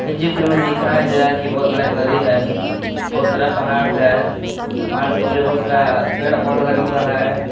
यह चित्र में दिखाया गया की बहोत बड़ा एक नदी है बहोत सारा पहाड़ है पहाड़ के ऊपर बहोत सारा पेड़ पौधा लगा हुआ है।